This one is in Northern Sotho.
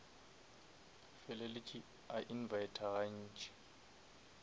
feleletše a invita ga ntši